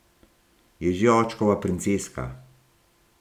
Je že očkova princeska.